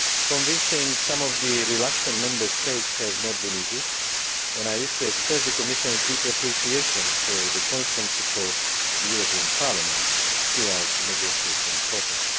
Convincing some of the reluctant Member States has not been easy, and I wish to express the Commission's deep appreciation for the constant support of the European Parliament throughout the negotiation process.